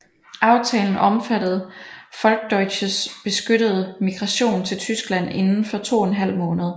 Aftalen omfattede Volksdeutsches beskyttede migration til Tyskland inden for to en halv måned